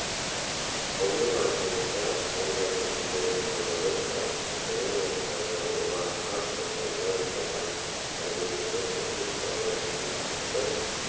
оның айтуынша мұндай көпірлердің аналогтары жапония мен қытайда олар қатты шыныдан жасалған мәліметіне сәйкес сауда сессиясы